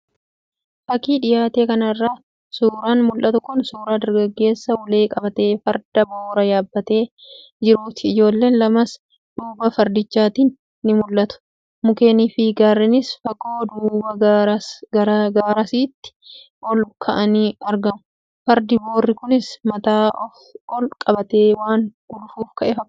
Fakii dhiyaate kanarraa suuraan mul'atu kun suuraa dargaggeessa ulee qabatee, Farda Boora yaabbatee jiruuti. Ijoolleen lamas duuba fardichaatiin ni mul'atu. Mukeenii fi Gaarreenis fagoo duuba garasiitti ol ka'anii argamu. Fardi Boorri kunis mataa ol qabatee waan gulufuuf ka'e fakkaata.